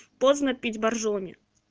поздно пить боржоми